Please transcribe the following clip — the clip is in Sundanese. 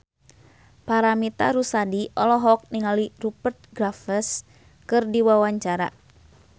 Paramitha Rusady olohok ningali Rupert Graves keur diwawancara